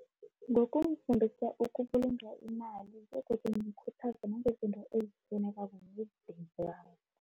Ngokumfundisa ukubulunga imali, begodu ngimkhuthaza nangezinto ezifunekako nemindeni yabo.